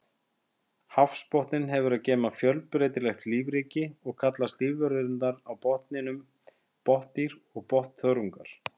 Hafsbotninn hefur að geyma fjölbreytilegt lífríki og kallast lífverurnar á botninum botndýr og botnþörungar.